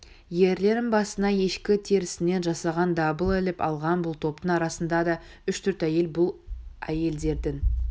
ерлерінің басына ешкі терісінен жасаған дабыл іліп алған бұл топтың арасында да үш-төрт әйел бұл әйелдердің